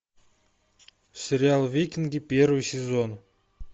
сериал викинги первый сезон